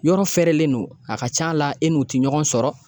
Yɔrɔ fɛrɛlen don, a ka ca la e n'u ti ɲɔgɔn sɔrɔ